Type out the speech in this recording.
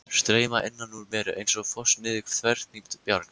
Streyma innan úr mér einsog foss niður þverhnípt bjarg.